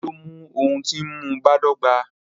Tani o mu ohun ti nmu badọgba?